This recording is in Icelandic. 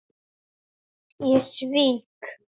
Ég svík